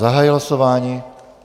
Zahajuji hlasování.